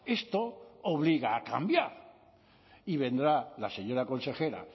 esto obliga a cambiar y vendrá la señora consejera